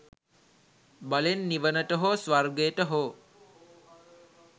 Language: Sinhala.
බලෙන් නිවනට හෝ ස්වර්ගයට හෝ